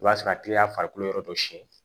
O b'a sɔrɔ a kelen y'a farikolo yɔrɔ dɔ siyɛn